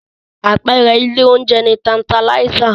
Àpẹẹrẹ ilé oúnjẹ ni Tantalizer.